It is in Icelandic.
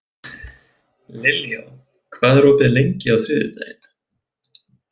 Liljá, hvað er opið lengi á þriðjudaginn?